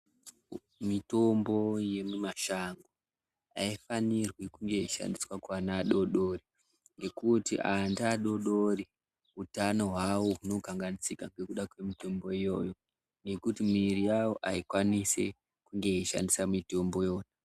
Mitombo yemimashango aifanirwi kunge yeishandiswa kuana adodori ngekuti anta adodori utano hwavo huno hunokanganisika negkuda kwemitombo iyoyo nekuti miviri yawo aikwanisi kunge yeishandisa mitombo iyoyo.